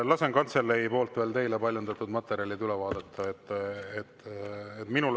Lasen kantseleil teile paljundatud materjalid üle vaadata.